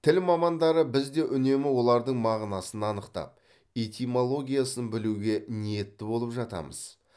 тіл мамандары біз де үнемі олардың мағынасын анықтап этимологиясын білуге ниетті болып жатамыз